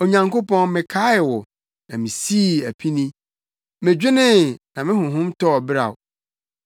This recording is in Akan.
Onyankopɔn mekaee wo, na misii apini; medwenee, na me honhom tɔɔ beraw.